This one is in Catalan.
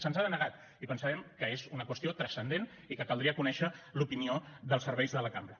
se’ns ha denegat i pensàvem que era una qüestió transcendent i que caldria conèixer l’opinió dels serveis de la cambra